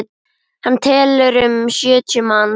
Hann telur um sjötíu manns.